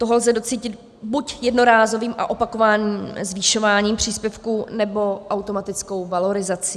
Toho lze docílit buď jednorázovým a opakovaným zvyšováním příspěvku, nebo automatickou valorizací.